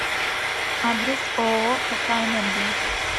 адрес ооо пк энергия